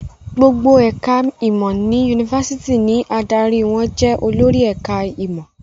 Gbogbo ẹ̀ka-ìmọ̀ ní yunifásitì ni adarí wọn jẹ olórí ẹ̀ka-ìmọ̀.